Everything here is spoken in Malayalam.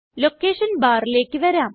ലൊക്കേഷൻ Barലേക്ക് വരാം